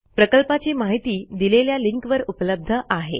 प्रकल्पाची माहिती दिलेल्या लिंकवर उपलब्ध आहे